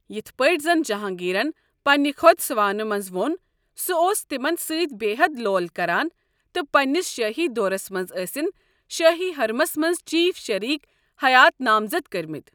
یِتھ پٲٹھۍ زن جہانگیرن پننِہ خۅد سوانح منٛز ووٚن ، سُہ اوس تِمن ستۍ بے حد لول کران تہٕ پننِس شٲہی دورس منٛز ٲسِن شٲہی حرمس منٛز چیف شریک حیات نامزد کرۍ متۍ۔